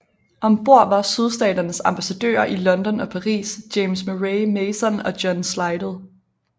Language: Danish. Om bord var Sydstaternes ambassadører i London og Paris James Murray Mason og John Slidell